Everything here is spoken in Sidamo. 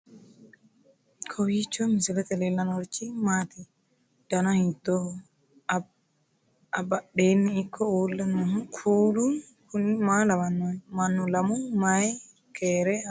kowiicho misilete leellanorichi maati ? dana hiittooho ?abadhhenni ikko uulla noohu kuulu kuni maa lawannoho? mannu lamu mayi keere haaranni nooikka